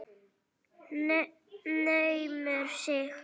Naumur sigur.